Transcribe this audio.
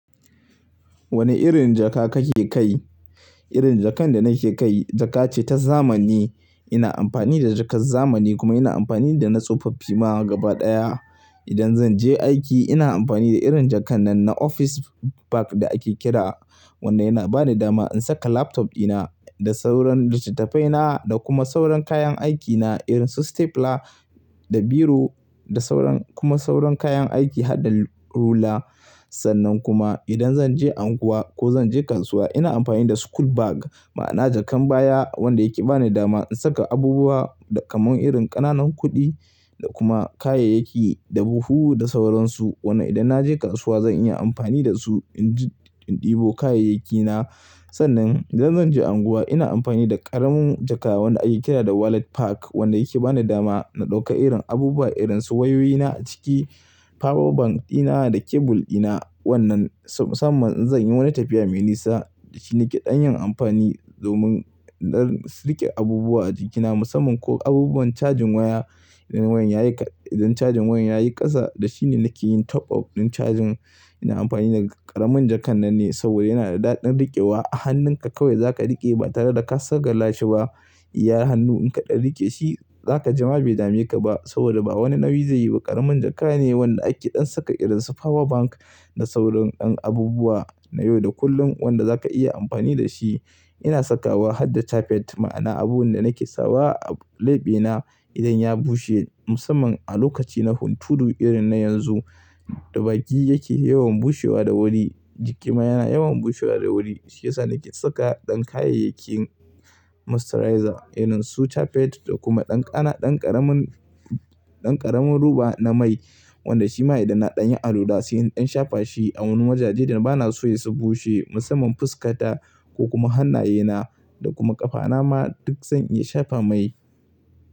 Wane irin jaka kake kai? Irin jakan da nake kai jaka ce ta zamani. Ina amfani da jakar zamani kuma ina amfani da na tsofaffi ma gaba ɗaya. Idan zan je aiki ina amfani da irin jakan nan na office bag da ake kira. Wannan yana bani dama in saka laptop dina da sauran littattafaina da kuma sauran kayan aikina irin su stapler da biro da sauran kuma sauran kayan aiki harda rula. Sannan kuma idan zan je unguwa ko zan je kasuwa ina amfani da school bag ma'ana jakan baya wanda yake bani dama in saka abubuwa kamar irin ƙananan kuɗi da kuma kayayyaki da buhu da sauran su. Wannan idan na je kasuwa zan iya amfani da su in dibo kayayyakina. Sannan idan zan je unguwa ina amfani da ƙaramin jaka wanda ake kira da wallet pack wanda yake bani dama na ɗauka irin abubuwa irin su wayoyina a ciki, power bank dina da kebul dina. Wannan musamman idan zan yi wani tafiya mai nisa shi yake ɗanyin amfani domin don silke abubuwa a jikina musamman ko abubuwan cajin waya. Idan cajin wayan yayi ƙasa da shine yake yin top up din cajin. Ina amfani da ƙaramin jakan nan ne saboda yana da daɗin riƙewa a hannunka kawai za ka riƙe ba tare da ka sagala shi ba. Iya hannu in ka ɗan riƙe shi za ka jama bai dame ka ba saboda ba wani nauyi zai yi ba. Ƙaramin jaka ne wanda ake ɗan saka irin su power bank da sauran ɗan abubuwa na yau da kullun wanda za ka iya amfani da shi. Ina saka wa harda chappet ma'ana abun da nake sawa a laɓe na idan ya bushe musamman a lokaci na hunturu irin na yanzu da baki yake yawan bushewa da wuri jiki ma yana yawan bushewa da wuri. Shi yasa nake saka ɗan kayayyakin moisturizer irin su tapet da kuma ɗan ƙaramin ɗan ƙaramin ruba na mai wanda shi ma idan na ɗan yi alwala sai in shafa shi a wani majaji da ba na so ya su bushe musamman fuskata ko kuma hannayena da kuma ƙafana ma duk zan iya shafa mai.